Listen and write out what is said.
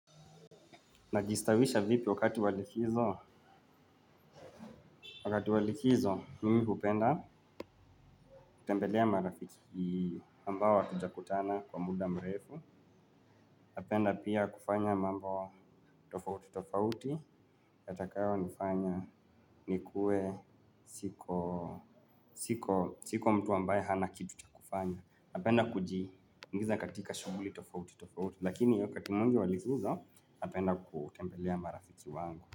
Najistawisha vipi wakati wa likizo, wakati wa likizo mimi hupenda kutembelea marafiki ambao hatujakutana kwa muda mrefu. Napenda pia kufanya mambo tofauti tofauti, yatakayonifanya nikuwe siko, siko mtu ambaye hana kitu cha kufanya, napenda kujiingiza katika shughuli tofauti tofauti, lakini wakati mwingi wa likizo, napenda kutembelea marafiki wangu.